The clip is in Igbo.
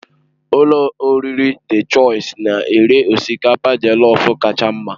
Ụlọ oriri Dị Chọisi na-ere osikapa jelọf kacha mma.